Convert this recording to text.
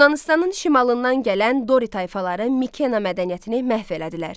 Yunanıstanın şimalından gələn Dori tayfaları Mikena mədəniyyətini məhv elədilər.